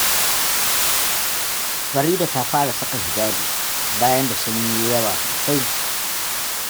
Farida ta fara saka hijabi, bayan da sanyi ya yi yawa sosai.